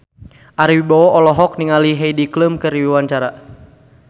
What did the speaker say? Ari Wibowo olohok ningali Heidi Klum keur diwawancara